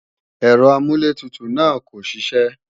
Ẹ̀rọ amúlẹ̀tutù náà kò ṣiṣẹ́